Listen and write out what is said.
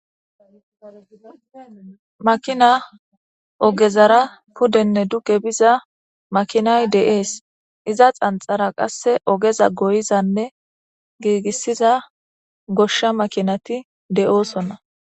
makina ogezara pudenne duge biza makinay de7ees iza xanxara qasse ogeza goyizanne giigissiza goshsha makinati de7oosonna